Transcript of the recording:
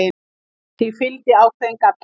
Því fylgdi ákveðinn galli.